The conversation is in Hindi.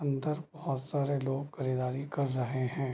अंदर बहोत सारे लोग खरीदारी कर रहे हैं।